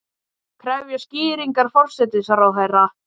Krefjast skýringa forsætisráðherra